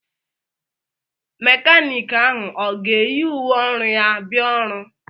Mékánịkị ahụ ọ ga-eyi uwe ọru ya bia ọrụ?